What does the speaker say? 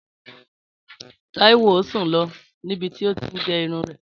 Táíwò sùn lọ níbi tí ó ti ń gérun rẹ̀